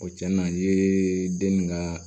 O cɛnin na n ye den ninnu ka